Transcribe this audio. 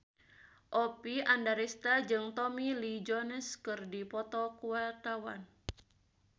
Oppie Andaresta jeung Tommy Lee Jones keur dipoto ku wartawan